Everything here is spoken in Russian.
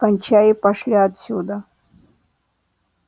кончай и пошли отсюда